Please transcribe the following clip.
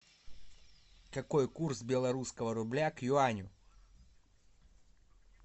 какой курс белорусского рубля к юаню